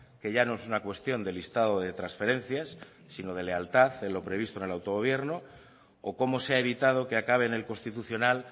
que ya no es una cuestión de listado de transferencias sino de lealtad en lo previsto en el autogobierno o cómo se ha evitado que acabe en el constitucional